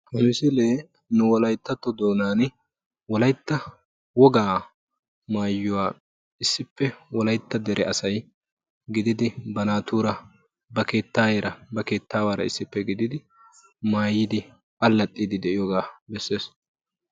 Ha misilee nu wolayttatto doonaan wolaytta wogaa maayuwaa issippe wolaytta dere asay gididi ba naatuura ba keettayeera ba keettawara issippe gididi maayidi allaaxxiidi de'iyoogaa bessees.